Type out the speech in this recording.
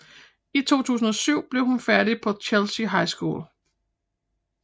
I 2007 blev hun færdig på Chelsea High School